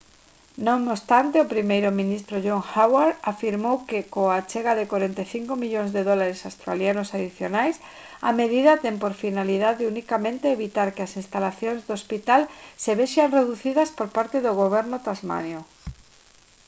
non obstante o primeiro ministro john howard afirmou que coa achega de 45 millóns de dólares australianos adicionais a medida ten por finalidade unicamente evitar que as instalacións do hospital se vexan reducidas por parte do goberno tasmaniano